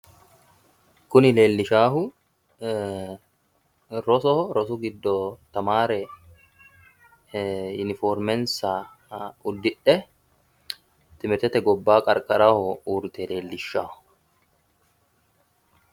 Kuni leellishaahu rosoho. rosu giddo tamaare yuniformmensa uddidhe timirtete gobbaanni qarqaraho uurrite leellishshanno.